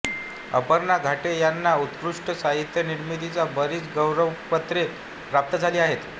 अपर्णा घाटे यांना उत्कृष्ट साहित्य निर्मितीची बरीच गौरवपत्रे प्राप्त झाली आहेत